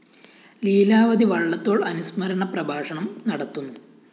ലീലാവതി വള്ളത്തോള്‍ അനുസ്മരണ പ്രഭാഷണം നടത്തുന്നു